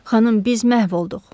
Xanım, biz məhv olduq!